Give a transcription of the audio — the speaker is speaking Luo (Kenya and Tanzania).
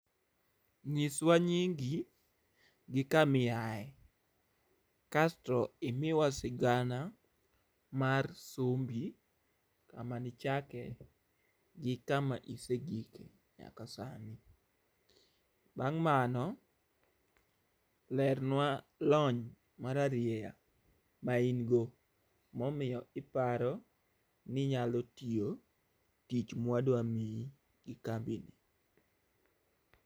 Nyiswa nyingi gi kamiae, kasto imiwa sigana mar sombi, kama nichake gi kama isegike nyaka sani. Bang' mano, lernwa lony mararieya ma in go momiyo iparo ninyalotiyo tich mwadwa miyi gi kambi ni.